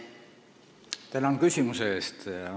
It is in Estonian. Tänan küsimuse eest!